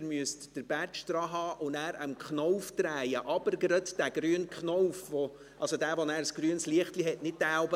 Sie müssen den Badge daranhalten und dann den Knauf drehen, und zwar den Knauf, bei dem ein grünes Lichtlein aufleuchtet, und nicht jenen darüber;